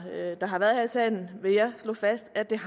har været her i salen vil jeg slå fast at der